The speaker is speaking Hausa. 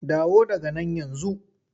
Dawo daga nan yanzu!